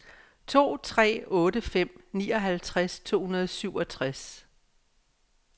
to tre otte fem nioghalvtreds to hundrede og syvogtres